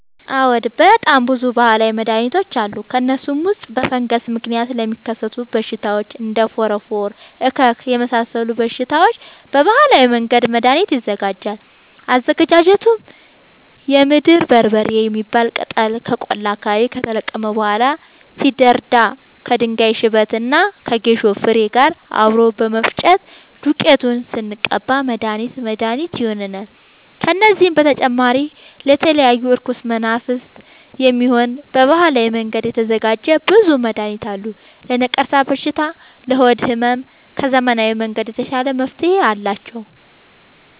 አዎድ በጣም ብዙ በሀላዊ መድሀኒቶች አሉ ከእነሱም ውስጥ በፈንገስ ምክንያት ለሚከሰቱ በሽታዎች እንደ ፎረፎር እከክ የመሳሰሉ በሽታዎች በባህላዊ መንገድ መድሀኒት ይዘጋጃል አዘገጃጀቱም የምድር በርበሬ የሚባል ቅጠል ከቆላ አካባቢ ከተለቀመ በኋላ ሲደርዳ ከድንጋይ ሽበት እና ከጌሾ ፋሬ ጋር አብሮ በመፈጨት ዱቄቱን ስንቀባ መድሀኒት መድሀኒት ይሆነናል። ከዚህም በተጨማሪ ለተለያዩ እርኩስ መናፍት፣ የሚሆን በባህላዊ መንገድ የተዘጋጀ ብዙ መድሀኒት አለ። ለነቀርሻ በሽታ ለሆድ ህመም ከዘመናዊ መንገድ የተሻለ መፍትሄ አላቸው።